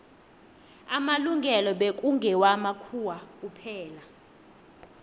amalungelo bekngewa makhuwa kuphela